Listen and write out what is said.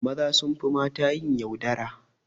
Maza sunfi mata yin yaudara